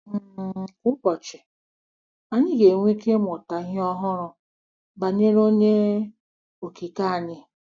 um Kwa ụbọchị, anyị ga-enwe ike ịmụta ihe ọhụrụ banyere Onye Okike anyị.